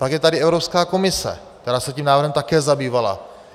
Pak je tady Evropská komise, která se tím návrhem také zabývala.